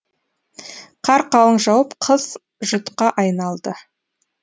қар қалың жауып қыс жұтқа айналды